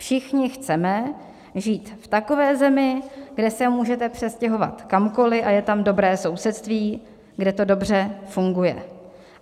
Všichni chceme žít v takové zemi, kde se můžete přestěhovat kamkoli a je tam dobré sousedství, kde to dobře funguje.